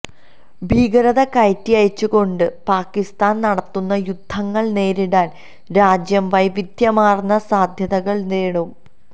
ഭീകരത കയറ്റിയയച്ചുകൊണ്ട് പാകിസ്ഥാന് നടത്തുന്ന യുദ്ധങ്ങള് നേരിടാന് രാജ്യം വൈവിധ്യമാര്ന്ന സാധ്യതകള് തേടും